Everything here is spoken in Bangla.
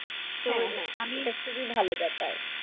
হ্যাঁ হ্যাঁ আমি, এটা খুবই ভালো ব্যাপার।